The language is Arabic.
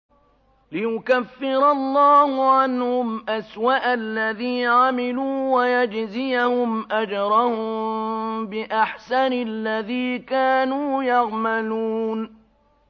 لِيُكَفِّرَ اللَّهُ عَنْهُمْ أَسْوَأَ الَّذِي عَمِلُوا وَيَجْزِيَهُمْ أَجْرَهُم بِأَحْسَنِ الَّذِي كَانُوا يَعْمَلُونَ